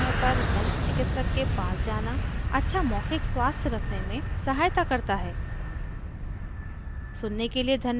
याद रखें अपने दाँतों की देखभाल और समयसमय पर दन्त चिकित्सक के पास जाना अच्छा मौखिक स्वास्थ्य रखने में सहायता करता है